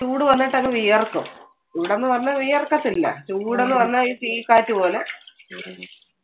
ചൂട് വന്നിട്ട് അങ്ങ് വിയർക്കും. ഇവിടെന്ന് പറഞ്ഞാൽ വിയർക്കത്തില്ല. ചൂട് എന്ന് പറഞ്ഞാൽ ഈ തീക്കാറ്റ് പോലെ.